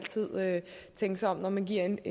tænke sig om når man giver en